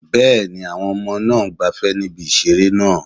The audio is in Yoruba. Bẹ́ẹ̀ni, àwọn ọmọ náà ń gbafẹ́ ní ibi ìseré náà